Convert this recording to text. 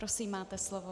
Prosím, máte slovo.